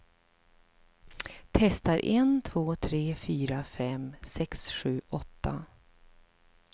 Testar en två tre fyra fem sex sju åtta.